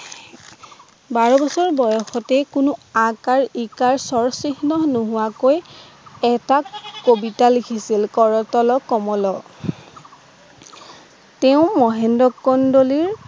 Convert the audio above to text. বাৰ বছৰ বয়সতে কোনো আকাৰ ইকাৰ স্বৰচিহ্ন নোহোৱাকৈ এটা কবিতা লিখিছিল কৰতল কমল তেওঁ মহেন্দ্ৰ কন্দলিৰ